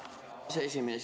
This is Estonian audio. Tänan, härra aseesimees!